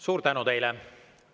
Suur tänu teile!